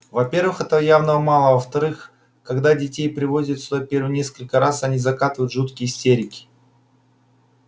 во-первых этого явно мало а во-вторых когда детей приводят сюда первые несколько раз они закатывают жуткие истерики